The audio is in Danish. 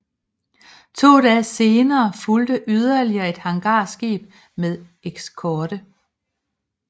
To dage senere fulgte yderligere et hangarskib med eskorte